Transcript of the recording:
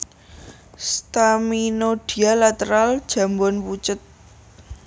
Staminodia lateral jambon pucet